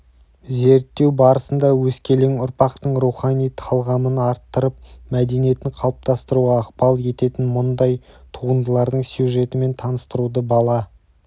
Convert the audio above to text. зерттеу барысында өскелең ұрпақтың рухани талғамын арттырып мәдениетін қалыптастыруға ықпал ететін мұндай туындылардың сюжетімен таныстыруды бала